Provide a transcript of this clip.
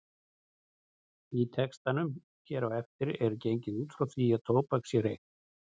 Í textanum hér á eftir er gengið út frá því að tóbak sé reykt.